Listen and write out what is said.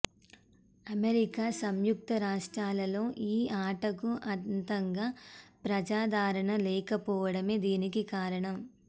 America సంయుక్త రాష్ట్రాలలోలో ఈ ఆటకు అంతగా ప్రజాదరణ లేకపోవడమే దీనికి కారణం